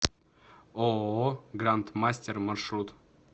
ооо гранд мастер маршрут